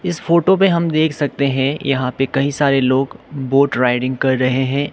इस फोटो पे हम देख सकते हैं यहां पे कई सरे लोग बोट रायडिंग कर रहे है।